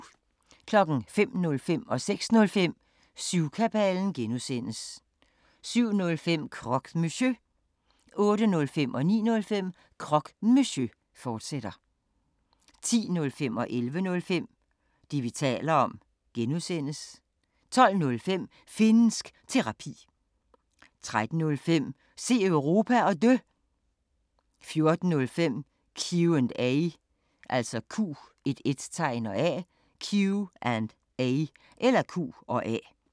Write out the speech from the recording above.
05:05: Syvkabalen (G) 06:05: Syvkabalen (G) 07:05: Croque Monsieur 08:05: Croque Monsieur, fortsat 09:05: Croque Monsieur, fortsat 10:05: Det, vi taler om (G) 11:05: Det, vi taler om (G) 12:05: Finnsk Terapi 13:05: Se Europa, og Dø 14:05: Q&A